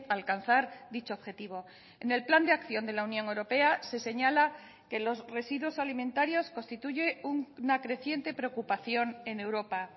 a alcanzar dicho objetivo en el plan de acción de la unión europea se señala que los residuos alimentarios constituye una creciente preocupación en europa